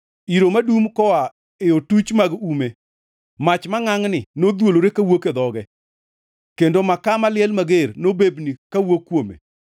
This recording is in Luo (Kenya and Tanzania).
Iro nodum koa e otuchi mag ume; mach mangʼangʼni nodhuolore kawuok e dhoge, kendo makaa maliel mager nobebni kawuok kuome.